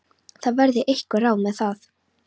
Það verði einhver ráð með það.